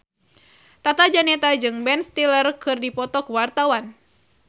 Tata Janeta jeung Ben Stiller keur dipoto ku wartawan